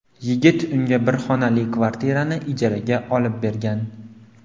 Yigit unga bir xonali kvartirani ijaraga olib bergan.